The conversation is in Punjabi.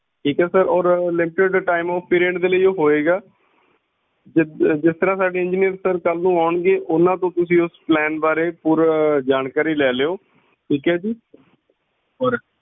ਠੀਕ ਆ sir ਔਰ limited time of period ਦੇ ਲਈ ਉਹ ਹੋਵੇਗਾ ਜਿਸ ਤਰਾਂ ਸਾਡੇ engineer ਸਰ ਕਲ ਨੂੰ ਆਉਣਗੇ ਓਹਨਾ ਤੋਂ ਇਸ plan ਬਾਰੇ ਪੂਰੀ ਜਾਣਕਾਰੀ ਲੈ ਲਓ